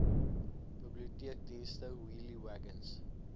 biblioteekdienste wheelie wagons